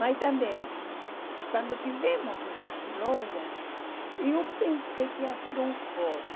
Mas também, quando tivemos essas lojas, eu pensei que ia ser um hobby.